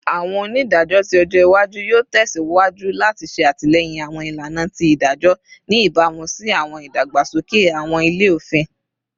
Awọn onidajọ ti ojo iwaju yoo tẹsiwaju lati ṣe atilẹyin awọn ilana ti idajọ, ni ibamu si awọn idagbasoke awọn ilẹ-ofin